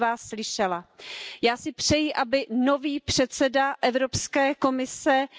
nem pedig saját politikai kényelmüket félteni, és a közelmúlt eseményeivel riogatni magukat és másokat.